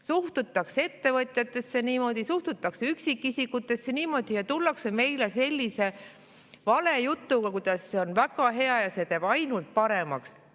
Suhtutakse ettevõtjatesse niimoodi, suhtutakse üksikisikutesse niimoodi, ja tullakse meile sellise valejutuga, kuidas see on väga hea ja see teeb ainult paremaks.